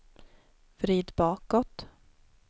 vrid bakåt